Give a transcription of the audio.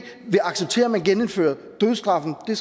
vil acceptere at man genindfører dødsstraffen det